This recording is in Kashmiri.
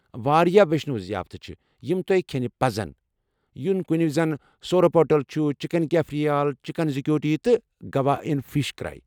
واریاہ ویشنو ضِیافتہٕ چھِ یِم تۄہہِ کھٮ۪نہِ پَزَن یتھ کٔنہِ زَن سورپوٹیل، چِکَِن کیفریل، چِکَن زیکوٹی، تہٕ گواان فِش کٔری ۔